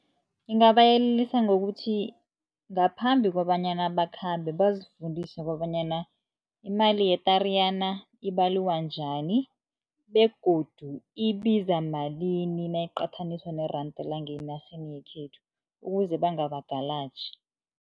Ngingabayelelisa ngokuthi ngaphambi kobanyana bakhambe bazifundise kobanyana imali ye-Tariyana ibaliwa njani begodu ibiza malini nayiqathaniswa neranda llanga enarheni yekhethu, ukuze bangabagalaji.